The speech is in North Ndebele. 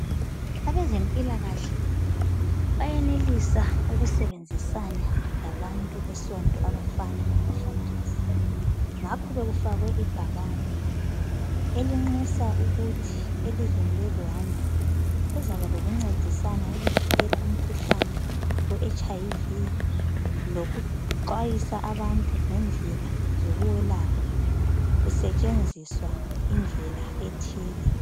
Abezempilakahle bayenelisa ukusebenzisana labantu besonto abafana labafundisi, ngakho bekufakwe ibhakane elinxusa ukuthi elizweni le Rwanda kuzaba lokuncedisana ukuvikela umkhuhlane we HIV lokuxwayisa abantu ngendlela zokuwelapha kusetshenziswa indlela ethile.